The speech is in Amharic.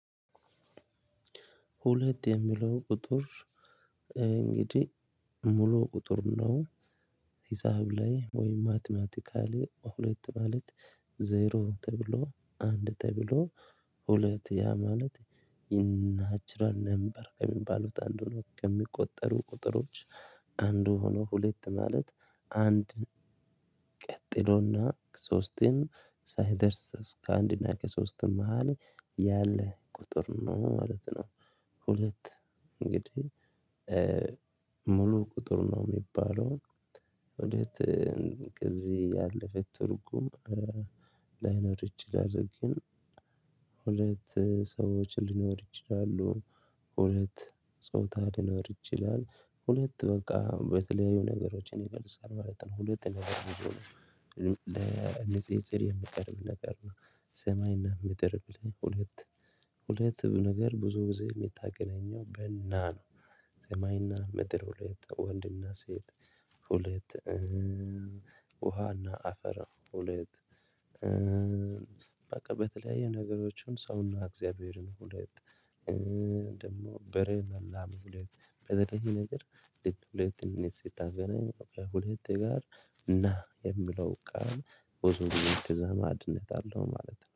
ሁለት የሚለው ቁጥር እንግዲህ ሙሉ ቁጥር ነው። ሂሳብ ላይ ወይ ማትማቲካሊ ሁለት ማለት ዜሮ ተብሎ አንድ ተብሎ ሁለት ያ ማለት ኢንናቹራል ነምበር ከሚባሉት አንዱ ነው ከሚቆጠሩ ቁጥሮች አንድ ሆኖ ሁለት ማለት አንድ ቀጥሎና ሶስትን ሳይደርስ እስከ አንድ እና ከሶስትም መሃል ያለ ቁጥር ነው ማለት ነው። ሁለት እንግዲህ ሙሉ ቁጥር ነው የሚባለው። ሁለት ጊዜ ያለፈ ትርጉም ላይኖር ይችላል። ግን ሁለት ሰዎች ሊኖሩ ይችላሉ። ሁለት ጾታ ሊኖር ይችላል ሁለት በቃ በተለያዩ ነገሮችን ይመልሳል ማለት ነው። ሁለት ነገር ቢሆንም የምቀርብ ነገር ነው። ሰማይና ምድር ብለህ ሁለት ሁለት ነገር ብዙ ብዙ የምታገናኘው በ ና ነው። ሰማይና ምድር ሁለት ወንድና ሴት ሁለት ውሃና አፈር ሁለት በቃ በተለያዩ ነገሮችን ሰውና እግዚአብሔርን ሁለት ደግሞ በሬም ላም ሁለት በተለይ ይሄ ነገር ልክ ሁለት ስታገናኝ ሁለት ጋር ና የምለው ቃል ብዙ ጊዜ ተዛማድነት አለው ማለት ነው